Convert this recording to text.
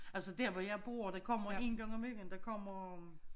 Altså dér hvor jeg bor der kommer en gang om ugen der kommer